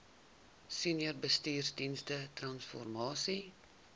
senior bestuursdienste transformasie